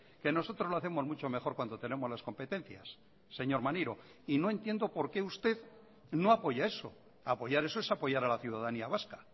que nosotros lo hacemos mucho mejor cuando tenemos las competencias señor maneiro y no entiendo por qué usted no apoya eso apoyar eso es apoyar a la ciudadanía vasca